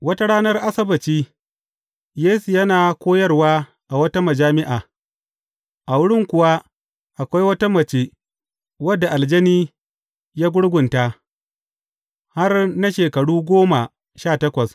Wata ranar Asabbaci, Yesu yana koyarwa a wata majami’a, a wurin kuwa, akwai wata mace wadda aljani ya gurgunta, har na shekaru goma sha takwas.